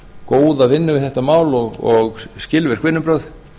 góða vinnu við þetta mál og skilvirk vinnubrögð